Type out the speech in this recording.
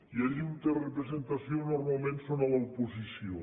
i allí on té representació normalment són a l’oposició